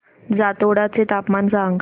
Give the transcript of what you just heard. जातोडा चे तापमान सांग